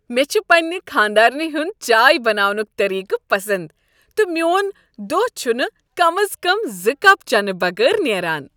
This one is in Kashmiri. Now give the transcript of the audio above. مےٚ چھ پننہ خانٛدارنہ ہنٛد چائے بناونُک طریقہٕ پسند تہٕ میون دۄہ چھ نہٕ کم از کم زٕ کپ چینہٕ بغٲر نٮ۪ران